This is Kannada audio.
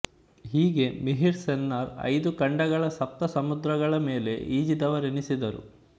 ಹೀಗೆ ಮಿಹಿರ್ ಸೆನ್ನರು ಐದು ಖಂಡಗಳ ಸಪ್ತ ಸಮುದ್ರಗಳ ಮೇಲೆ ಈಜಿದವರೆನಿಸಿದರು